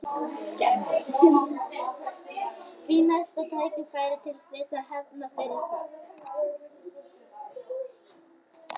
Fínasta tækifæri til þess að hefna fyrir það.